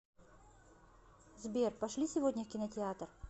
сбер пошли сегодня в кинотеатр